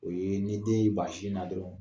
O ye ni den ban sin na dɔrɔn